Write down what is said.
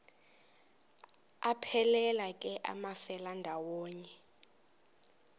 aphelela ke amafelandawonye